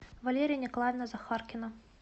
валерия николаевна захаркина